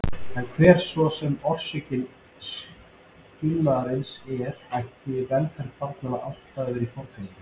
En hver svo sem orsök skilnaðarins er ætti velferð barnanna alltaf að hafa forgang.